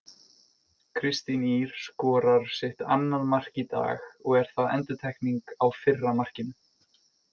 Kristín Ýr skorar sitt annað mark í dag og er það endurtekning á fyrra markinu.